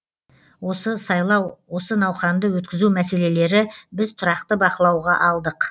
осы сайлау осы науқанды өткізу мәселелері біз тұрақты бақылауға алдық